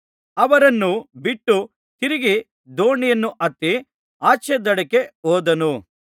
ಅವರನ್ನು ಬಿಟ್ಟು ತಿರುಗಿ ದೋಣಿಯನ್ನು ಹತ್ತಿ ಆಚೇದಡಕ್ಕೆ ಹೋದನು